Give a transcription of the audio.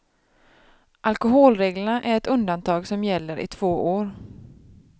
Alkoholreglerna är ett undantag som gäller i två år.